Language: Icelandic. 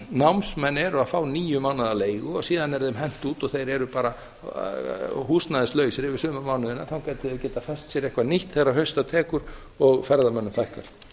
námsmenn eru að fá níu mánaða leigu og síðan er þeim hent út og þeir eru bara húsnæðislausir yfir sumarmánuðina þangað til þeir geta fest sér eitthvað nýtt þegar hausta tekur og ferðamönnum fækkar